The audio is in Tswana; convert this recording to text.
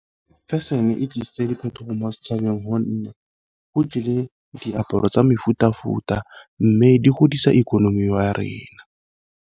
Fashion e tlisitse diphetogo mo setšhabeng gonne go tlile diaparo tsa mefuta-futa mme di godisa ikonomi wa rena.